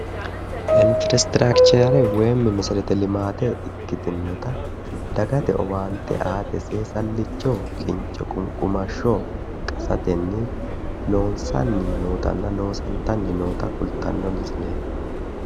infrastrakichere woyimmi mesereti limaate ikkitinota dagate owaante aate seesallicho kincho qunqumashsho qasatenni loonsanni nootanna loosantanni noota kultanno misileeti.